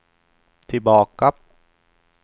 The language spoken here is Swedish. tillbaka